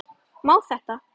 Má þetta?